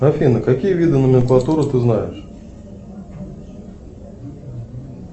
афина какие виды номенклатуры ты знаешь